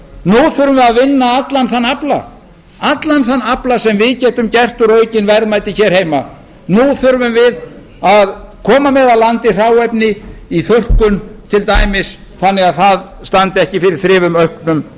nú þurfum við að vinna allan þann afla sem við getum gert úr aukin verðmæti hér heima nú þurfum við að koma með að landi hráefni í þurrkun til dæmis þannig að það standi ekki fyrir þrifum auknum